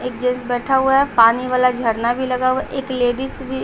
एक जेन्स बैठा हुआ है पानी वाला झरना भी लगा हुआ है एक लेडीज भि --